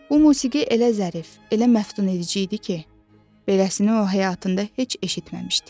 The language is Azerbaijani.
Bu musiqi elə zərif, elə məftun edici idi ki, beləsini o, həyatında heç eşitməmişdi.